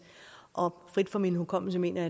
og frit fra min hukommelse mener